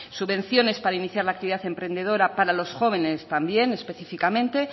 subvenciones para iniciar la actividad emprendedora para los jóvenes también específicamente